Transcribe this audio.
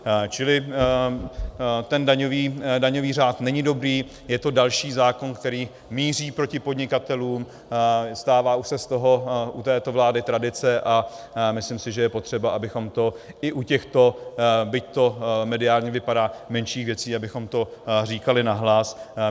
Čili ten daňový řád není dobrý, je to další zákon, který míří proti podnikatelům, stává už se z toho u této vlády tradice a myslím si, že je potřeba, abychom to i u těchto, byť to mediálně vypadá, menších věcí, abychom to říkali nahlas.